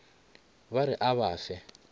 ba re a ba fe